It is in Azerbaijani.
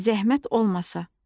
Zəhmət olmasa.